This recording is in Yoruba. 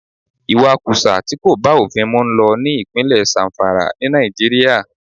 Ìwakùsà tí kò bá òfin mu ń lọ ní ìpínlè Zamfara, ní Nàìjíríà.